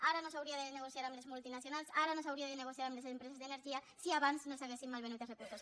ara no s’hauria de negociar amb les multinacionals ara no s’hauria de negociar amb les empreses d’energia si abans no s’haguessin malvenut els recursos